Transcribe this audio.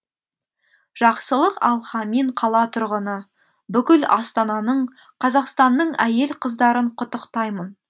жақсылық алхамин қала тұрғыны бүкіл астананың қазақстанның әйел қыздарын құттықтаймын